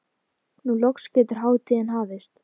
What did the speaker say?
Nú loks getur hátíðin hafist.